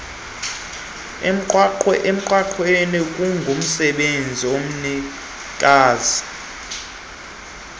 emgwaqweni kungumsebenzi womnikazi